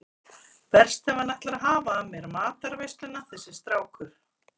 Verst ef hann ætlar að hafa af mér matarveisluna þessi strákur.